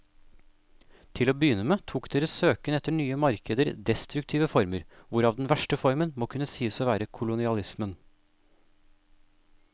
Til å begynne med tok deres søken etter nye markeder destruktive former, hvorav den verste formen må kunne sies å være kolonialismen.